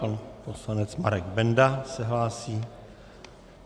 Pan poslanec Marek Benda se hlásí.